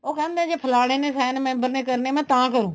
ਉਹ ਕਹਿੰਦੇ ਜ਼ੇ ਫਲਾਣੇ sign member ਨੇ ਕਰਨੇ ਆ ਮੈਂ ਤਾਂ ਕਰੂ